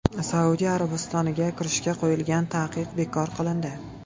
Saudiya Arabistoniga kirishga qo‘yilgan taqiq bekor qilindi.